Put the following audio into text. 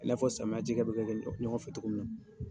I n'a fɔ samiyɛn cikɛ bɛ kɛ ɲɔgɔn fɛ cogo min na.